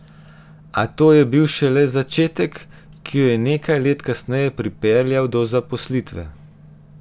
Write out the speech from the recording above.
A to je bil šele začetek, ki jo je nekaj let kasneje pripeljal do zaposlitve.